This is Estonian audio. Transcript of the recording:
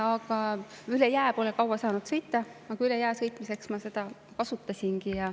Aga üle jää pole kaua saanud sõita, kuigi üle jää sõitmiseks ma seda kasutasingi.